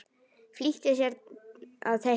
Flýtir sér að teikna.